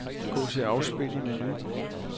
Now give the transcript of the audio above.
Gå til afspil i menu.